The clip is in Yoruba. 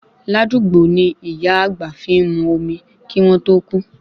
Ládugbó ni ìyá àgbà fi ń mu omi kí wọ́n tó kú